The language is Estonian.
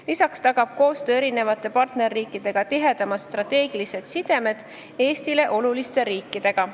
Lisaks tagab koostöö erinevate partnerriikidega tihedamad strateegilised sidemed Eestile oluliste riikidega.